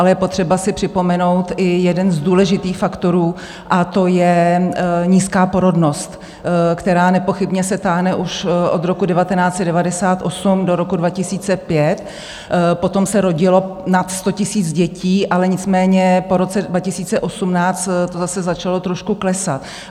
Ale je potřeba si připomenout i jeden z důležitých faktorů a to je nízká porodnost, která nepochybně se táhne už od roku 1998 do roku 2005, potom se rodilo nad 100 000 dětí, ale nicméně po roce 2018 to zase začalo trošku klesat.